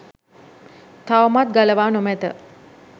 තවමත් ගලවා නොමැත.